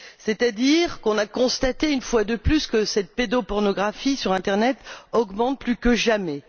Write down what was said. C'est à dire qu'on a constaté, une fois de plus, que cette pédopornorgraphie sur l'internet augmente plus que jamais.